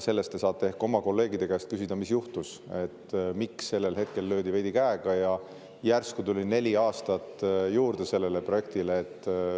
Selle kohta te saate ehk oma kolleegide käest küsida, mis juhtus, miks sellel hetkel löödi veidi käega ja järsku tuli neli aastat sellele projektile juurde.